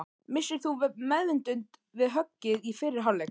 Misstir þú meðvitund við höggið í fyrri hálfleik?